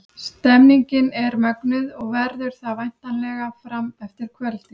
Stemningin er mögnuð og verður það væntanlega fram eftir kvöldi!